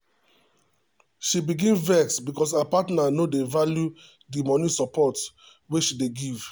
she begin vex because her partner no dey value the money support wey she dey give.